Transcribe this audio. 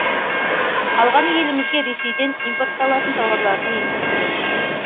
қалғаны елімізге ресейден импортталатын тауарлардың еншісінде